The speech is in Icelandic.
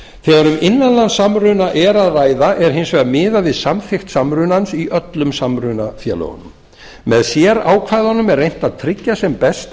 þegar um innanlandssamruna er að ræða er hins vegar miðað við samþykkt samrunans í öllum samrunafélögunum með sérákvæðunum er reynt að tryggja sem best